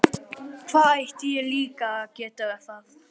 Hvernig ætti ég líka að geta það?